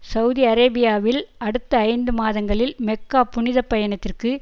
Saudi அரேபியாவில் அடுத்த ஐந்து மாதங்களில் மெக்கா புனித பயணத்திற்கு